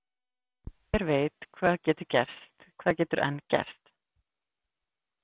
Hver veit hvað getur enn gerst?